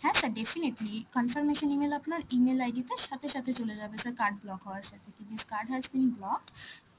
হ্যাঁ sir definitely confirmation E-mail আপনার E-mail ID তে সাথে সাথে চলে যাবে, sir card block হওয়ার সাথে কি যে this card has been blocked.